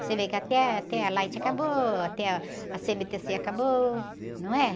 Você vê que até a, até a Light acabou, até ah, a cê-eme-tê-cê acabou, não é?